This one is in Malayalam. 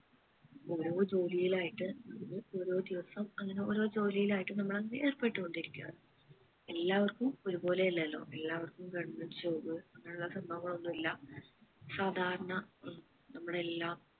ഓരോ ജോലിയിലായിട്ട് നമ്മള് ഓരോ ദിവസം അങ്ങനെ ഓരോ ജോലിയിലായിട്ട് നമ്മൾ അങ്ങനെ ഏർപ്പെട്ട് ഇരിക്കുവാണ് എല്ലാവർക്കും ഒരു പോലെ അല്ലല്ലോ എല്ലാവർക്കും government job അങ്ങനെ ഉള്ള സംഭവങ്ങൾ ഒന്നും ഇല്ല സാധാരണ നം നമ്മളെ എല്ലാം